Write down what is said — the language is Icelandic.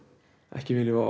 ekki viljum við